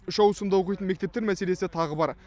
үш ауысымда оқитын мектептер мәселесі тағы бар